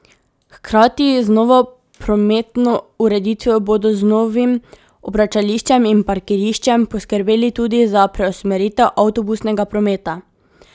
Hkrati z novo prometno ureditvijo bodo z novim obračališčem in parkiriščem poskrbeli tudi za preusmeritev avtobusnega prometa.